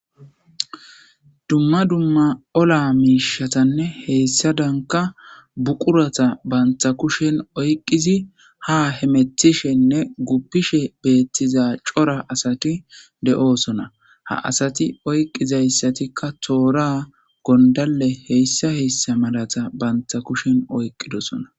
Dumma dumma ola miishatanne heyssadanka buqurata bantha kushen oyqqizi ha hemethishenne guppishe beettiza cora asati de'oosona ha asati oyqqizayssatikka toora gondale heyssa heyssa malata bantha kushen oyqqidosona